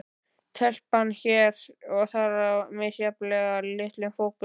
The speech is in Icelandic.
Telpan hér og þar í misjafnlega litlum fókus.